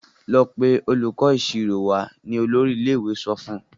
Lọ pé olùkó ìṣirò wá! ní olórí ilé-ìwé sọfún.